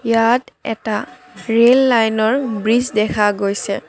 ইয়াত এটা ৰেল লাইনৰ ব্ৰীজ দেখা গৈছে।